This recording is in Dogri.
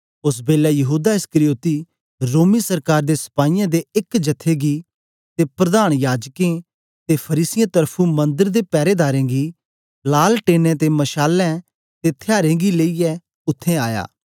ओस बेलै यहूदा इस्करियोती रोमी सरकार दे सपाईयें दे एक जथे गी ते प्रधान याजकें ते फरीसियें त्र्फुं मन्दर दे पैरेदारें गी लालटैनें ते मशालें ते थ्यारें गी लेईयै उत्थें आया